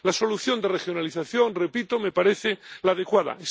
La solución de regionalización —repito— me parece la adecuada.